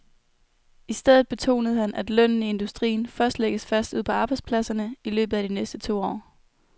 I stedet betonede han, at lønnen i industrien først lægges fast ude på arbejdspladserne i løbet af de næste to år.